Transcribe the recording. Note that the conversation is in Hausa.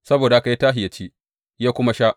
Saboda haka ya tashi ya ci, ya kuma sha.